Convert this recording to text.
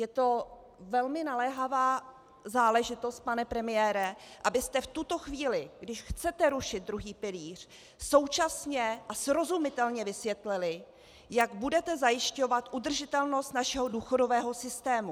Je to velmi naléhavá záležitost, pane premiére, abyste v tuto chvíli, když chcete rušit druhý pilíř, současně a srozumitelně vysvětlili, jak budete zajišťovat udržitelnost našeho důchodového systému.